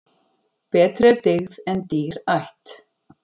Betri er dyggð en dýr ætt.